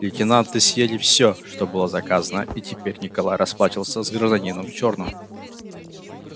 лейтенанты съели всё что было заказано и теперь николай расплачивался с гражданином в чёрном